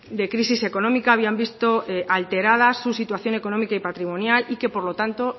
de crisis económica habían visto alterada su situación económica y patrimonial y que por lo tanto